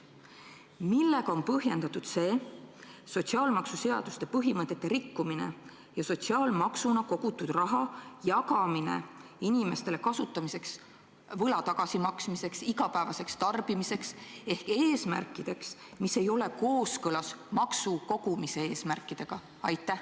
Millega on põhjendatud see sotsiaalmaksuseaduse põhimõtete rikkumine ja sotsiaalmaksuna kogutud raha jagamine inimestele võla tagasimaksmiseks või igapäevaseks tarbimiseks ehk eesmärkideks, mis ei ole kooskõlas maksu kogumise eesmärkidega?